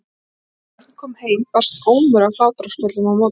Þegar Örn kom heim barst ómur af hlátrasköllum á móti honum.